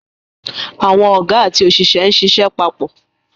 Àwọn Ọ̀gá àti òṣìṣẹ́ ń ṣiṣẹ́ papọ̀